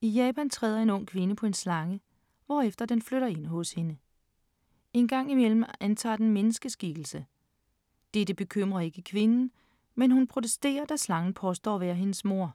I Japan træder en ung kvinde på en slange, hvorefter den flytter ind hos hende. Engang i mellem antager den menneskeskikkelse. Dette bekymrer ikke kvinden, men hun protesterer, da slangen påstår at være hendes mor.